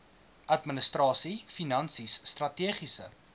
administrasie finansies strategiese